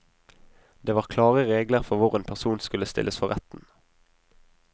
Det var klare regler for hvor en person skulle stilles for retten.